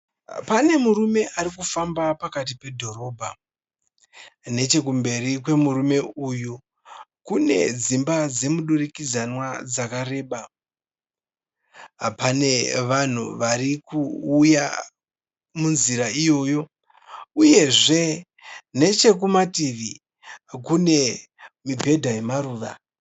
Pane mumwe murume ari kufamba pakati pedhorobha. Nechekumberi kwemurume uyu kune dzimba dzemudurikidzanwa dzakareba. Pane vanhu vari kuuya munzira iyoyo uyezve nechekumativi kune mibhedha yemaruva.